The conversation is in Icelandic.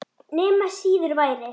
Nema síður væri.